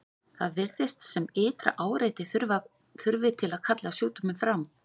Það virðist sem ytra áreiti þurfi til að kalla sjúkdóminn fram.